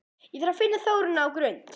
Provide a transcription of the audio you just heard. Ég þarf að finna Þórunni á Grund!